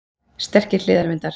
Sterkir hliðarvindar